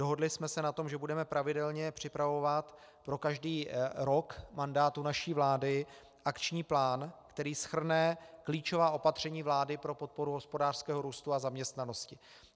Dohodli jsme se na tom, že budeme pravidelně připravovat pro každý rok mandátu naší vlády akční plán, který shrne klíčová opatření vlády pro podporu hospodářského růstu a zaměstnanosti.